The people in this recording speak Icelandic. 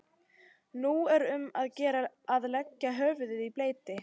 Nú er um að gera að leggja höfuðið í bleyti.